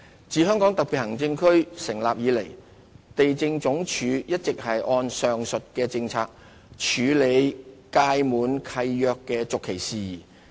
自香港特別行政區成立以來，地政總署一直按上述的政策處理屆滿契約的續期事宜。